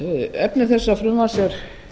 efni þessa frumvarp er